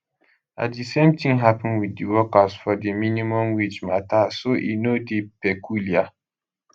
na di same tin happen wit di workers for di minimum wage matter so e no dey peculiar